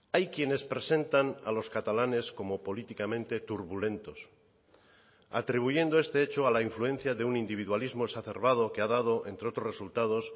hay quienes presentan a los catalanes como políticamente turbulentos atribuyendo este hecho a la influencia de un individualismo exacerbado que ha dado entre otros resultados